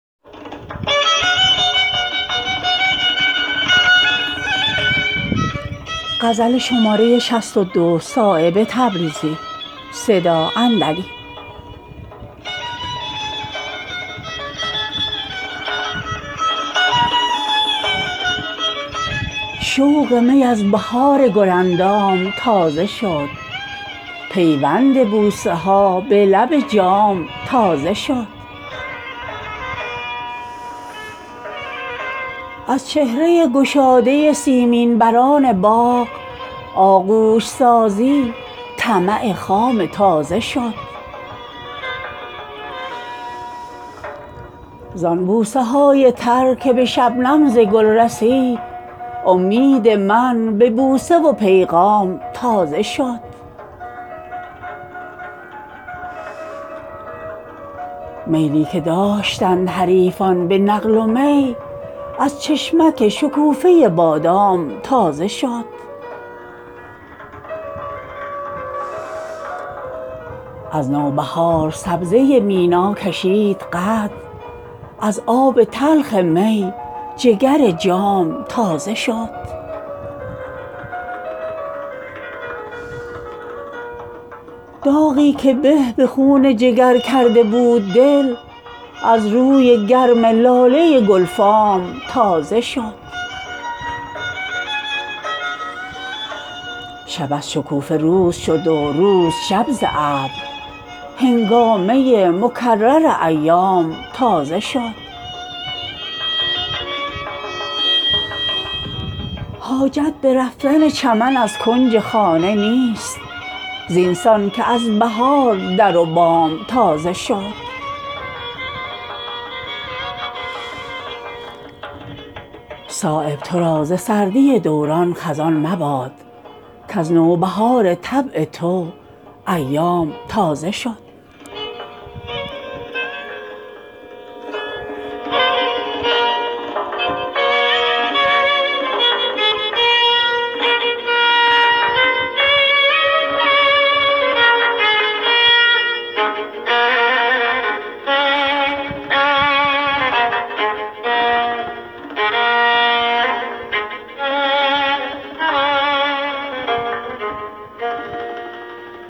شوق می از بهار گل اندام تازه شد پیوند بوسه ها به لب جام تازه شد از چهره گشاده سیمین بران باغ آغوش سازی طمع خام تازه شد زان بوسه های تر که به شبنم زگل رسید امید من به بوسه وپیغام تازه شد میلی که داشتند حریفان به نقل ومی از چشمک شکوفه بادام تازه شد از نوبهار سبزه مینا کشید قد از آب تلخ می جگر جام تازه شد زان خنده ای که غنچه به روی نسیم کرد شاهد پرستی دل خود کام تازه شد داغی که به به خون جگر کرده بود دل از روی گرم لاله گلفام تازه شد شب از شکوفه روز شد وروز شب زابر هنگامه مکرر ایام تازه شد حاجت به رفتن چمن از کنج خانه نیست زینسان که از بهار در وبام تازه شد زاحرامی شکوفه ولبیک بلبلان دل را به کعبه رغبت احرام تازه شد صایب ترا زسردی دوران خزان مباد کز نوبهار طبع تو ایام تازه شد